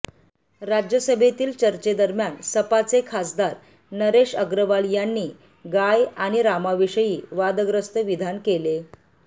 राज्यसभेतील चर्चेदरम्यान सपाचे खासदार नरेश अग्रवाल यांनी गाय आणि रामाविषयी वादग्रस्त विधान केले